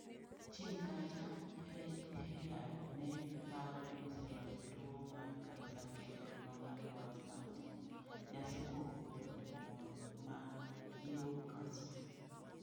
Chien kacha Hellyar ne paro ni oseloyo tuwo mar kansa kendo nong'ado wach mar timo nyasi kuom wuotho ​​e boma ma Newcastle.